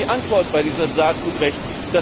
Wo ist die Antwort in diesem Saatgutrecht?